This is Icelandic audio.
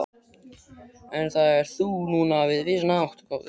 En það ert þú nú líka á vissan hátt, góði